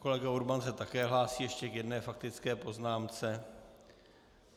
Kolega Urban se také hlásí ještě k jedné faktické poznámce.